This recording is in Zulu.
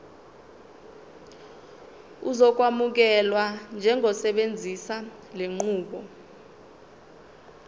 uzokwamukelwa njengosebenzisa lenqubo